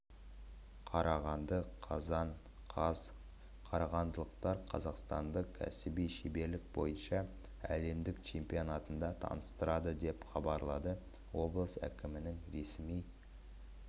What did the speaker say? қарағанды қазан қаз қарағандылықтар қазақстанды кәсіби шеберлік бойынша әлемдік чемпионатында таныстырады деп хабарлады облыс әкімінің ресми